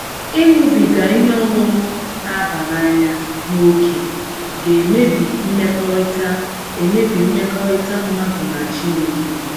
Ịṅụbiga ihe ọṅụṅụ na - aba n’anya n' ókè ga - emebi mmekọrịta - emebi mmekọrịta mmadụ na Chineke.